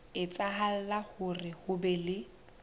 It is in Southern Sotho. etsahala hore ho be le